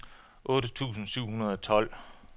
otte tusind syv hundrede og tolv